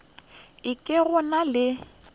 e ke go na le